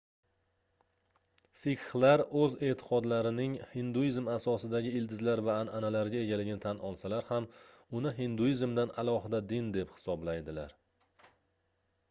sikxlar garchi oʻz eʼtiqodlarining hinduizm asosidagi ildizlar va anʼanalarga egaligini tan olsalar ham uni hinduizmdan alohida din deb hisoblaydilar